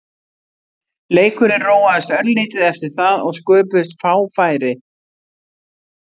Leikurinn róaðist örlítið eftir það og sköpuðust fá færi.